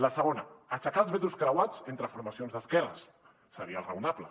la segona aixecar els vetos creuats entre formacions d’esquerres seria raonable